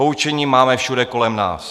Poučení máme všude kolem nás.